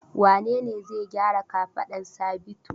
Wane ne zai gyaran kafadar Sabitu?